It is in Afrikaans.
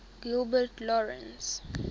gilbert lawrence